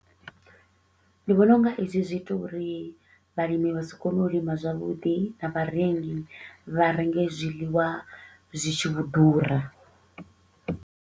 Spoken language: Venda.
Ndi vhona u nga ezwi zwi ita uri vhalimi vha si kone u lima zwavhuḓi na vharengi vha renge zwiḽiwa zwi tshi vho ḓura.